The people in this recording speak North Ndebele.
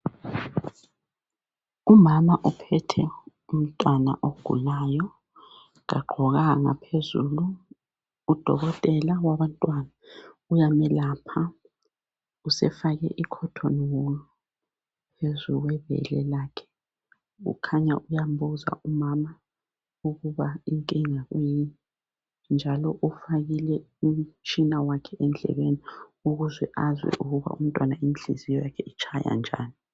umama ophethe umntwana ogulayo kagqokanga phezulu udokotela wabantwana uyamuyelapha usefake ikhotoni wulu phezulu kwebele lakhe ukhanya uyambuza umama ukuthi inkinga yakhe kuyini njalo ufake umtshina wakhe endlebeni ukuba azwe ukuthi inhliziyo yomntwana itshaya njani.